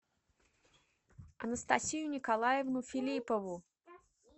анастасию николаевну филиппову